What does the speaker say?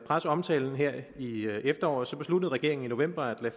presseomtalen her i efteråret besluttede regeringen i november at